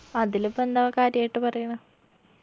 അതിലിപ്പെന്താ കാര്യായിട്ട് പറയണ്